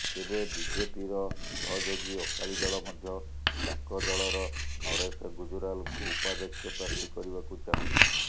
ତେବେ ବିଜେପିର ସହଯୋଗୀ ଅକାଳୀ ଦଳ ମଧ୍ୟ ତାଙ୍କ ଦଳର ନରେଶ ଗୁଜରାଲଙ୍କୁ ଉପାଧ୍ୟକ୍ଷ ପ୍ରାର୍ଥୀ କରିବାକୁ ଚାହୁଁଛି